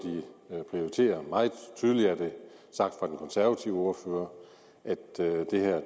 de prioriterer meget tydeligt er det sagt fra den konservative ordfører altså at det her